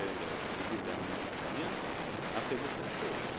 Mais le gouvernement italien a fait beaucoup de choses.